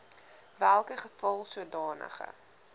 welke geval sodanige